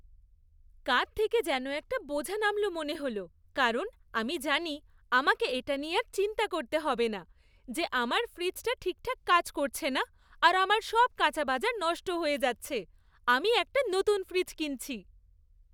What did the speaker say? কাঁধ থেকে যেন একটা বোঝা নামল মনে হল কারণ আমি জানি আমাকে এটা নিয়ে আর চিন্তা করতে হবে না যে আমার ফ্রিজটা ঠিকঠাক কাজ করছে না আর আমার সব কাঁচা বাজার নষ্ট হয়ে যাচ্ছে। আমি একটা নতুন ফ্রিজ কিনছি।